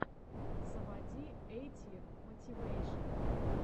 заводи эйти мотивэйшен